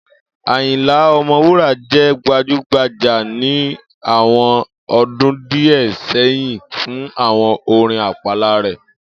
Àyìnlá O̩mo̩wúrà jé̩ gbajúgbajà ní àwo̩n o̩dún díè̩ sé̩yìn fún àwo̩n orin àpàla rè̩